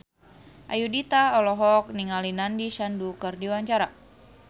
Ayudhita olohok ningali Nandish Sandhu keur diwawancara